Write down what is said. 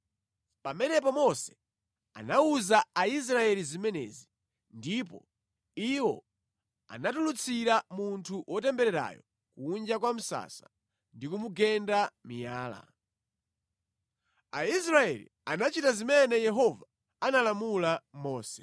Pamenepo Mose anawuza Aisraeli zimenezi, ndipo iwo anatulutsira munthu wotembererayo kunja kwa msasa ndi kumugenda miyala. Aisraeli anachita zimene Yehova analamula Mose.